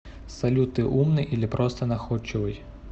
салют ты умный или просто находчивый